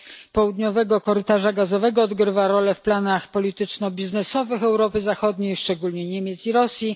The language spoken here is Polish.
południowego korytarza gazowego, odgrywa rolę w planach polityczno biznesowych Europy Zachodniej, szczególnie Niemiec i Rosji.